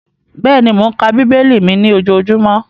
Bẹ́ẹ̀ni, mò ń ka bíbélì mi ní ojojúmọ́